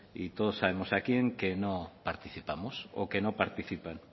y todos sabemos a quién que no participamos o que no participan